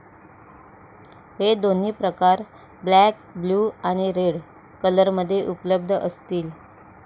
हे दोन्ही प्रकार ब्लॅक, ब्लू आणि रेड कलरमध्ये उपलब्ध असतील.